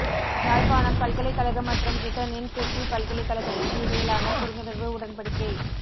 யாழ்ப்பாணம் பல்கலைக்கழக மற்றும் பிரிட்டனின் பிரிஸ்டல் பல்கலைக்கழகத்திற்கு இடையிலான புரிந்துணர்வு உடன்படிக்கை